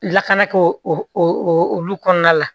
Lakana k'o olu kɔnɔna la